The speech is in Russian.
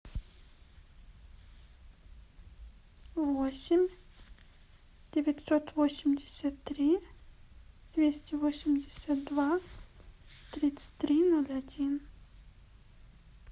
восемь девятьсот восемьдесят три двести восемьдесят два тридцать три ноль один